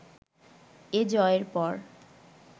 এ জয়ের পর